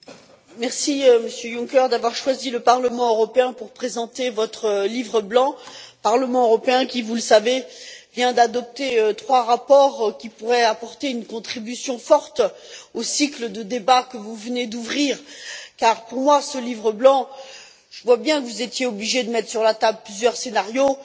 Monsieur le Président, Monsieur Juncker, je vous remercie d'avoir choisi le Parlement européen pour présenter votre Livre blanc Parlement européen qui, vous le savez, vient d'adopter trois rapports qui pourraient apporter une contribution forte au cycle de débats que vous venez d'ouvrir. En ce qui concerne ce Livre blanc, je vois bien que vous étiez obligé de mettre sur la table plusieurs scénarios.